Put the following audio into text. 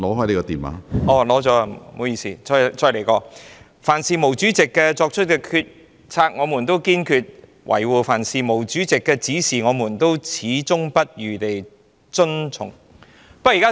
讓我再說一遍："凡是毛主席作出的決定，我們都堅決維護；凡是毛主席的指示，我們都矢志不渝地遵從。